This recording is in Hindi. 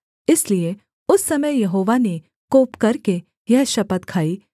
इसलिए उस समय यहोवा ने कोप करके यह शपथ खाई